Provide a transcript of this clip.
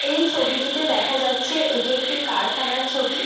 এই ছবি টিতে দেখা যাচ্ছে এটি একটি কারখানার ছবি।